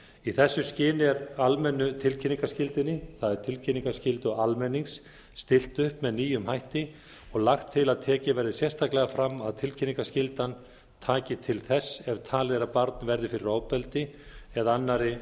í þessu skyni er almennu tilkynningarskyldunni það er tilkynningarskyldu almennings stillt upp með nýjum hætti og lagt til að tekið verði sérstaklega fram að tilkynningarskyldan taki til þess er talið er að barn verði fyrir ofbeldi eða annarri